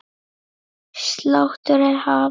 Sláttur er hafinn.